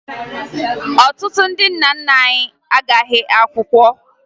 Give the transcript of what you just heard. Ọtụtụ ndị nna nna anyị agaghị akwụkwọ